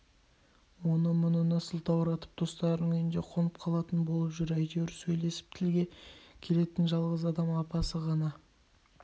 оны-мұныны сылтауратып достарының үйінде қонып қалатын болып жүр әйтеуір сөйлесіп тілге келетін жалғыз адам апасы ғана